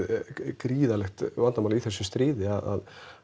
gríðarlegt vandamál í þessu stríði að